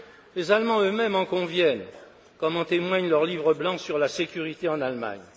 Les Allemands eux mêmes en conviennent, comme en témoigne leur livre blanc sur la sécurité en Allemagne.